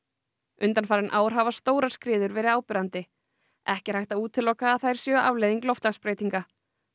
undanfarin ár hafa stórar skriður verið áberandi ekki er hægt að útiloka að þær séu afleiðing loftslagsbreytinga